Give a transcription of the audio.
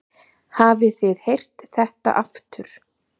Hafið þið heyrt þetta aftur?